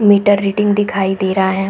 Metre reading दिखाई दे रहा है।